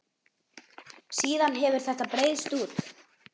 Síðan hefur þetta breiðst út.